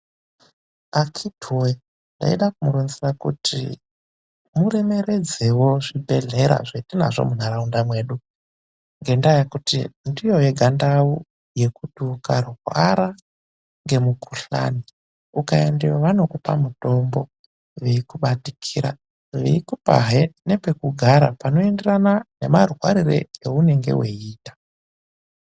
Akhiti woye! Ndaida kumuronzera kuti muremeredzewo zvibhedhlera zvetinazvo munharaunda mwedu. Ngendaa yekuti ndiyo yega ndau yekuti ukarwara ngemukhuhlani, ukaendeyo vanokupa mutombo veikubatikira. Veikupahe nepekugara panoenderana nemarwarire eunenge weiita.